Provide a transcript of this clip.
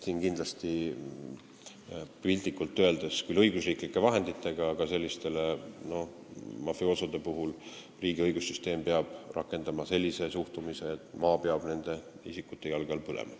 Seda tehti küll õigusriiklike vahenditega, aga sellistesse mafioosodesse peab riigi õigussüsteemil olema selline suhtumine, et maa peab nende isikute jalge all põlema.